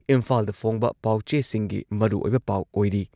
ꯏꯝꯐꯥꯜꯗ ꯐꯣꯡꯕ ꯄꯥꯎꯆꯦꯁꯤꯡꯒꯤ ꯃꯔꯨꯑꯣꯏꯕ ꯄꯥꯎ ꯑꯣꯏꯔꯤ꯫